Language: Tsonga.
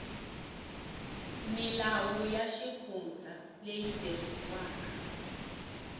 milawu ya xifundza leyi tirhisiwaka